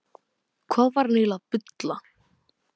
Hvað var hann eiginlega að bulla?